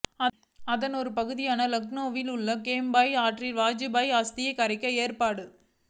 அதன் ஒரு பகுதியாக லக்னோவில் உள்ள கோம்டி ஆற்றில் வாஜ்பாய் அஸ்தி கரைக்க ஏற்பாடு